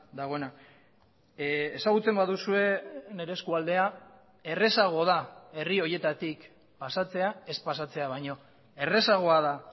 dagoena ezagutzen baduzue nire eskualdea errazago da herri horietatik pasatzea ez pasatzea baino errazagoa da